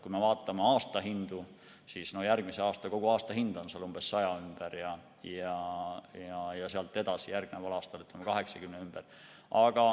Kui me vaatame aasta hindu, siis järgmisel aastal on kogu aasta hind 100 ümber ja järgneval aastal 80 ümber.